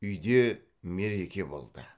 үйде мереке болды